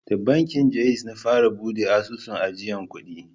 Da bankin Ja'iz na fara buɗe asusun ajiyan kuɗi.